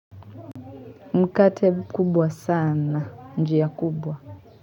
Mkate kubwa sana, njia kubwa.